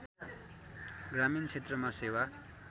ग्रामीण क्षेत्रमा सेवा